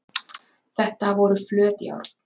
þetta voru flöt járn